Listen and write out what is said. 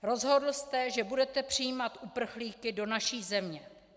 Rozhodl jste, že budete přijímat uprchlíky do naší země.